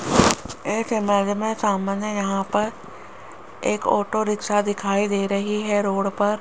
एक इमेज में सामने यहां पर एक ऑटो रिक्शा दिखाई दे रही है रोड पर।